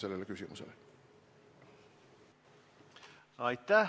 Aitäh!